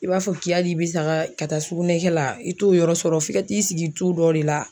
I b'a fɔ k'i hakili bi saga ka taa sugunɛ kɛ la i t'o yɔrɔ sɔrɔ f'i ka t'i sigi tu dɔ de la.